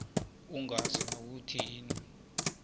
ungazi nokuthi yini